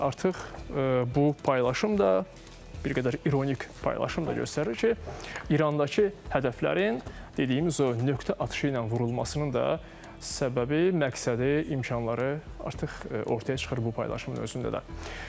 Artıq bu paylaşım da bir qədər ironik paylaşım da göstərir ki, İrandakı hədəflərin, dediyimiz o nöqtə atışı ilə vurulmasının da səbəbi, məqsədi, imkanları artıq ortaya çıxır bu paylaşımın özündə də.